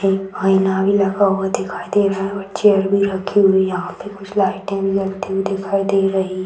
एक आईना भी लगा हुआ दिखाई दे रहा है और चेयर भी रखी हुई है यहाँ पे कुछ लाइटे जलती हुई दिखाई दे रही --